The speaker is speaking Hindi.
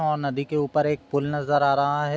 अ नदी के ऊपर एक फूल नजर आ रहा है।